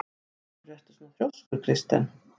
Af hverju ertu svona þrjóskur, Kirsten?